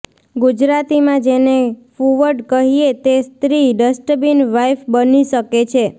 ગુજરાતીમાં જેને ફૂવડ કહીએ તે સ્ત્રી ડસ્ટબીન વાઈફ બની શકે છે